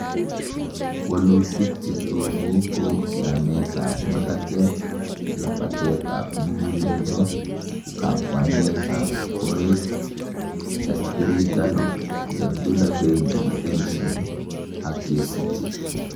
Wolutik chetogu ko yametab makatet, labatetab muguleldo, kabwanetab koet, S3 gallop, jugular vein distension, ak kisiche.